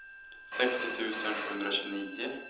sextio tusen sjuhundratjugonio